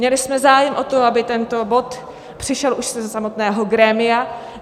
Měli jsme zájem o to, aby tento bod přišel už ze samotného grémia.